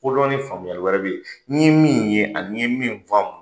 Kodɔn ni faamuyali wɛrɛ bɛ yen, n'i ye min ye an'i ye min fɔ.